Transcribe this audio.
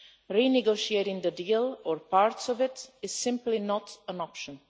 Renegotiating the deal, or parts of it, is simply not an option.